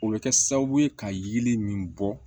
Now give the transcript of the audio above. O bɛ kɛ sababu ye ka yiri min bɔ